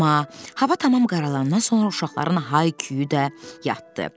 Amma hava tamam qaralandan sonra uşaqların hay-küyü də yatdı.